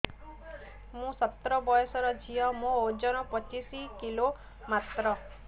ମୁଁ ସତର ବୟସର ଝିଅ ମୋର ଓଜନ ପଚିଶି କିଲୋ ମାତ୍ର